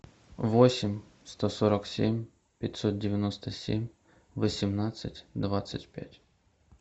восемь сто сорок семь пятьсот девяносто семь восемнадцать двадцать пять